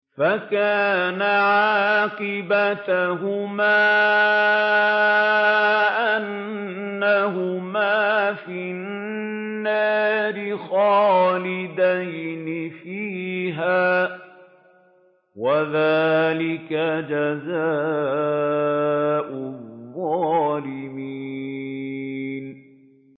فَكَانَ عَاقِبَتَهُمَا أَنَّهُمَا فِي النَّارِ خَالِدَيْنِ فِيهَا ۚ وَذَٰلِكَ جَزَاءُ الظَّالِمِينَ